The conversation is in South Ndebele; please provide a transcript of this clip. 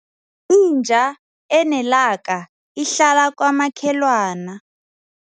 Inja enelaka ihlala kwamakhelwana.